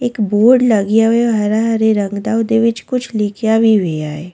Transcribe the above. ਇੱਕ ਬੋਰਡ ਲੱਗਿਆ ਹੋਇਆ ਉਹ ਹਰਾ ਹਰੇ ਰੰਗ ਉਹਦੇ ਵਿਚ ਕੁੱਛ ਲਿਖਿਆ ਵੀ ਹੋਇਆ ਹੈ।